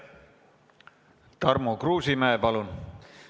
Tarmo Kruusimäe, palun!